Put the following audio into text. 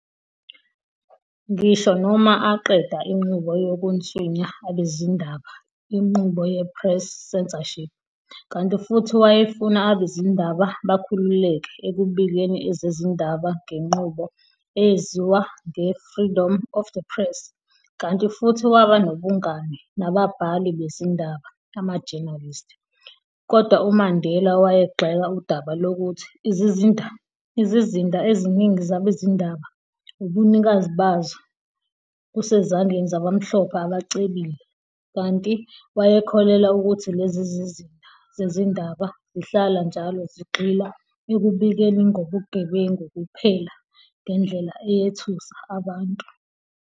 Ngisho noma aqeda inqubo yokunswinya abezindaba inqubo ye-press censorship, kanti futhi wayefuna abezindaba bakhululeke ekubikeni ezezindaba ngenqubo eyeziwa nge-freedom of the press, kanti futhi waba nobungani nababhali bezindaba amajenalisti, kodwa uMandela wayegxeka udaba lokuthi izizinda eziningi zabezindaba, ubunikazi bazo busesezandleni zabamhlophe abacebile, kanti wayekholelwa ukuthi lezi zizinda zezindaba zihlala njalo zigxila ekubikeni ngobugebengu kuphela ngendlela eyethusa abantu.